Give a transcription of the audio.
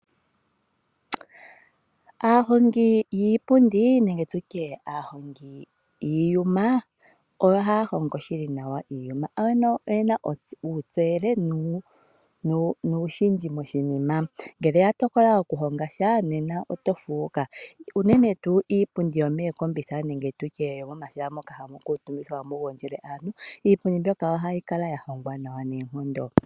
Aahongi yiipundi nenge tutye aahongi yiiyuma ohaya hongo shili nawa iiya ano oyena ontseyo. Ngele ya tokola okuhonga oshinima nena otofuuka unene tuu iipundi yomookombitha nenge yomomahala moka hamu gondjele aantu . Iipundi mbyoka ohayi kala ya hongwa nawa noonkondo.